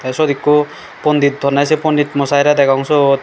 the sut ekku pondit honne pondit mosiy re degong suot.